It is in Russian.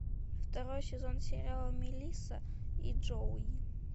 второй сезон сериала мелисса и джоуи